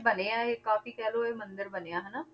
ਬਣਿਆ ਇਹ ਕਾਫ਼ੀ ਕਹਿ ਲਓ ਇਹ ਮੰਦਿਰ ਬਣਿਆ ਹਨਾ,